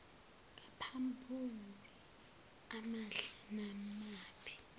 ngamaphuzu amahle namabi